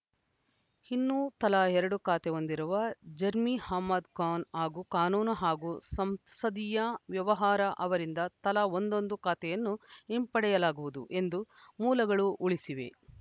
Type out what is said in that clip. ಇನ್ನು ತಲಾ ಎರಡು ಖಾತೆ ಹೊಂದಿರುವ ಜರ್ಮಿ ಅಹ್ಮದ್‌ ಖಾನ್‌ ಹಾಗೂ ಕಾನೂನು ಹಾಗೂ ಸಂಸದೀಯ ವ್ಯವಹಾರ ಅವರಿಂದ ತಲಾ ಒಂದೊದು ಖಾತೆಯನ್ನು ಹಿಂಪಡೆಯಲಾಗುವುದು ಎಂದು ಮೂಲಗಳು ಉಳಿಸಿವೆ